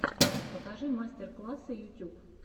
покажи мастер классы ютюб